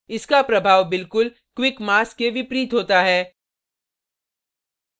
इसका प्रभाव बिलकुल quick mask के विपरीत होता है